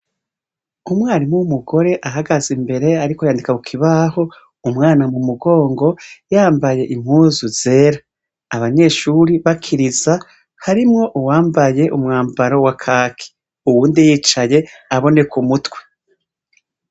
Umwarimu w'umugore ahagaze imbere ariko yandika ku kibaho, umwana mu mugongo, yambaye impuzu zera. Abanyeshure bakiriza, harimwo uwambaye umwambaro wa kaki. Uwundi yicaye, aboneka umutwe.